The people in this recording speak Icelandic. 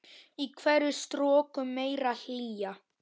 Í hverri stroku meiri hlýja.